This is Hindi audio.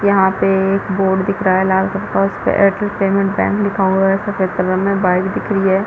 यहाँ पे एक बोर्ड दिख रहा लाल क्लर का उसपे ऐर्टेल पेमेंट बैंक लिखा हुआ है सफ़ेद कलर में बाइक दिख रही है।